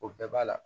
O bɛɛ b'a la